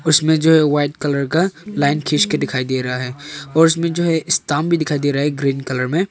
इसमें जो है वाइट कलर का लाइन खींच के दिखाई दे रहा है और इसमें जो है स्टांप भी दिखाई दे रहा है ग्रीन कलर मे।